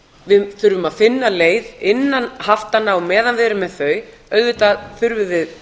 við þurfum að finna leið innan haftanna á meðan við erum með þau auðvitað þurfum við